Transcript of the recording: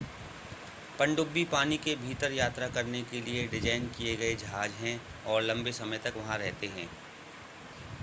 पनडुब्बी पानी के भीतर यात्रा करने के लिए डिज़ाइन किए गए जहाज़ हैं और लंबे समय तक वहां रहते हैं